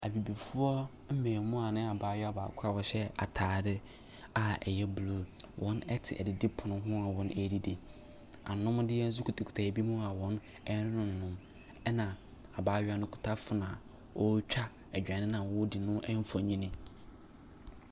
Abibifoɔ mmaamua ne abaayewa a baako a ɔhyɛ ataadeɛ a ɛyɛ blue, wɔte adidipono ho a wɔredidi. Anomdeɛ nso kitakita binom a wɔrenom. Na abaayewa no kita phone a ɔretwa aduane no a wɔredi no.